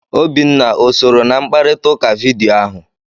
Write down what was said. Obinna o sooro na mkparịta ụka vidiyo ahụ?